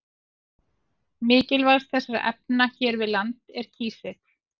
Mikilvægast þessara efna hér við land er kísill.